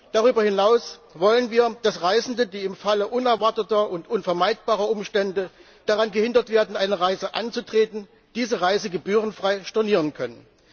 Darüber hinaus wollen wir, dass Reisende, die im Falle unerwarteter und unvermeidbarer Umstände daran gehindert werden, eine Reise anzutreten, diese Reise gebührenfrei stornieren können.